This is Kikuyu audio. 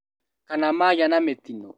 Kana magĩa na mĩtino